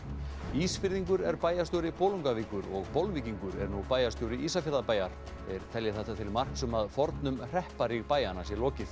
Ísfirðingur er bæjarstjóri Bolungarvíkur og Bolvíkingur er nú bæjarstjóri Ísafjarðarbæjar þeir telja þetta til marks um að fornum hrepparíg bæjanna sé lokið